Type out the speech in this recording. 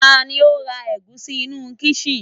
tani o ra egusi inú kisin